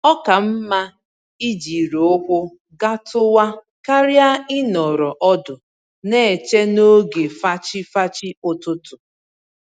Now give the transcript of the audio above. Oka mma ijiri ụkwụ gatuwa karịa ịnọrọ ọdụ n'eche n'oge fachi-fachi ụtụtụ